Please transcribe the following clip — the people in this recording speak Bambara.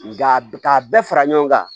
Nka k'a bɛɛ fara ɲɔgɔn kan